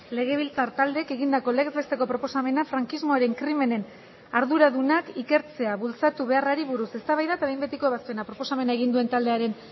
legebiltzar taldeek egindako legez besteko proposamena frankismoaren krimenen arduradunak ikertzea bultzatu beharrari buruz eztabaida eta behin betiko ebazpena proposamena egin duen taldearen